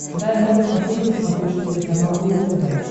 дай мне посмотреть на смотрешке телеканал рубль тв